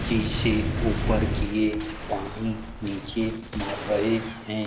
जैसे ऊपर की ये पानी नीचे मार रहे हैं।